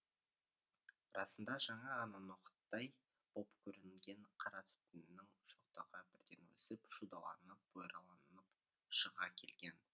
расында жаңа ғана ноқыттай боп көрінген қара түтіннің шоқтығы бірден өсіп шудаланып бұйраланып шыға келген